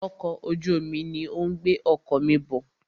Ọkọ̀ ojú omi ní o ń gbé ọkọ̀ mí bọ̀.